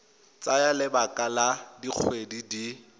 tsaya lebaka la dikgwedi di